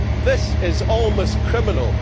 This is almost criminal.